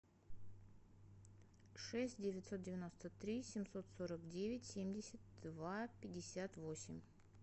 шесть девятьсот девяносто три семьсот сорок девять семьдесят два пятьдесят восемь